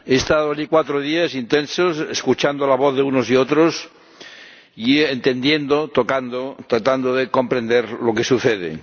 He estado allí cuatro días intensos, escuchando la voz de unos y otros, y entendiendo, tocando, tratando de comprender lo que sucede.